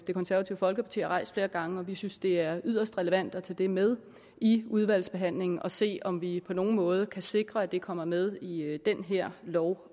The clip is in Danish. det konservative folkeparti har rejst flere gange vi synes det er yderst relevant at tage det med i udvalgsbehandlingen og se om vi på nogen måde kan sikre at det også kommer med i den her lov